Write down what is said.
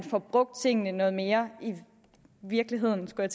får brugt tingene noget mere i virkeligheden skulle